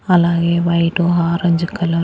అలాగే white orange కల--